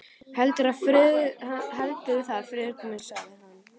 Heldurðu það, Friðrik minn? sagði hann.